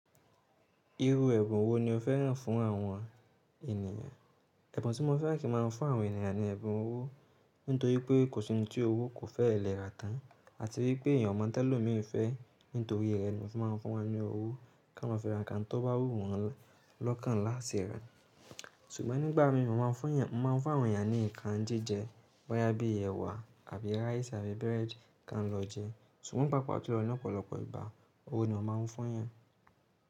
Iru ẹ̀bùn wo ni o fẹ́ràn fún àwọn ènìyàn? Ẹ̀bùn tí mo fẹ́ràn kí n má a fún àwọn ènìyàn ni ẹ̀bùn owó. Nítorí pé kò sí ẹni tí owó kò fẹ́ẹ̀ lè rà tán. Àti wípé èèyàn mọ́ńtẹ́lọ́mìí fẹ́. Nítorí ẹnu ifun mo ń fin ma n fu wóni owo kí má fi ra nǹkan tó bá wù wọ́n lọ́kàn láti ṣe ra. Ṣùgbọ́n nígbà mímọ̀ má a ń fún èèyàn, má a ń fún àwọn ènìyàn ní nǹkan jíjẹ bóyá bíi ẹ̀wà àbí rice àbí bread kí wọ́n lọ jẹ. Ṣùgbọ́n pàápàá julọ ní ọ̀pọ̀lọpọ̀ ìgbá, owó ni a máa ń fún èèyàn.